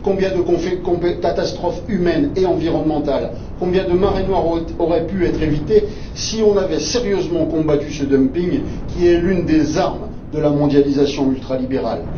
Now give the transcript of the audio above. Combien de catastrophes humaines et environnementales, combien de marées noires auraient pu être évitées si nous avions sérieusement combattu ce dumping, qui est l'une des armes de la mondialisation ultralibérale!